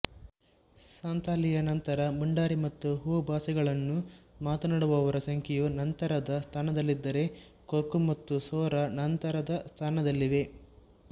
ಸಂತಾಲಿಯ ನಂತರ ಮುಂಡಾರಿ ಮತ್ತು ಹೋ ಭಾಷೆಗಳನ್ನು ಮಾತನಾಡುವವರ ಸಂಖ್ಯೆಯು ನಂತರದ ಸ್ಥಾನದಲ್ಲಿದ್ದರೆ ಕೊರ್ಕು ಮತ್ತು ಸೊರಾ ನಂತರದ ಸ್ಥಾನದಲ್ಲಿವೆ